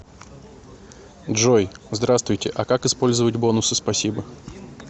джой здравствуйте а как использовать бонусы спасибо